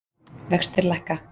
Vextir lækka